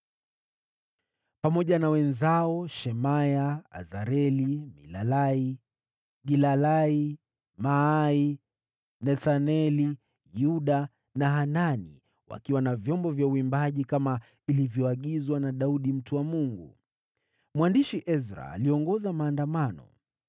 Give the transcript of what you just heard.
pamoja na wenzake, Shemaya, Azareli, Milalai, Gilalai, Maai, Nethaneli, Yuda na Hanani, wakiwa na vyombo vya uimbaji, kama ilivyoagizwa na Daudi mtu wa Mungu. Mwandishi Ezra aliongoza maandamano.